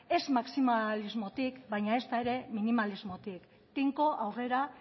ez maximalismotik baina ezta ere minimalismotik tinko aurrera